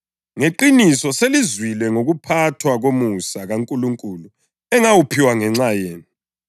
Ngeqiniso selizwile ngokuphathwa komusa kaNkulunkulu engawuphiwayo ngenxa yenu,